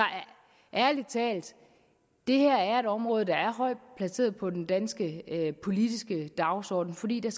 ærlig talt det her er et område der er højt placeret på den danske politiske dagsorden fordi der